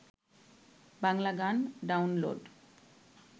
বাংলা গান ডাউনলোড